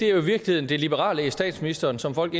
er i virkeligheden det liberale i statsministeren som folk